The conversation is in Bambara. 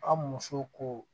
An muso ko